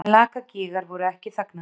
En Lakagígar voru ekki þagnaðir.